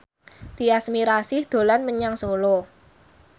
Tyas Mirasih dolan menyang Solo